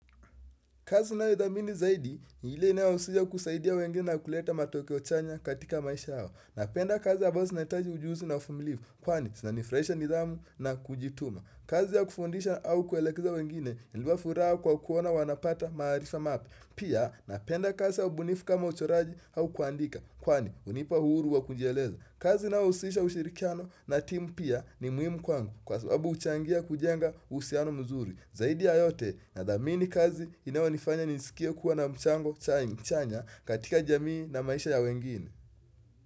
Kazi nayo idhamini zaidi, ni ile inayo husia kusaidia wengine ya kuleta matokeo chanya katika maisha yao. Napenda kazi ambazo zinaitaji ujuzi na ufumilivu, kwani sinanifraisha nidhamu na kujituma. Kazi ya kufundisha au kuelekeza wengine, inafuraa kwa kuona wanapata maaarifa mape. Pia, napenda kazi ya ubunifu kama uchoraji hau kuandika, kwani unipa huru wa kunjieleza. Kazi inayo husisha ushirikiano na timu pia ni muhimu kwangu, kwa sababu huchangia kujenga uhusiano mzuri. Zaidi ya yote na dhamini kazi inayonifanya nisikie kuwa na mchango cha mchanya katika jamii na maisha ya wengine.